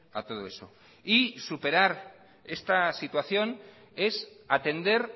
a todo eso y superar esta situación es atender